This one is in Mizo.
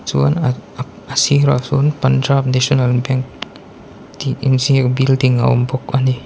chuan an a sirah chuan punjab national bank tih inziak building a awm bawk a ni.